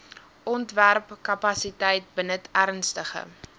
ontwerpkapasiteit benut ernstige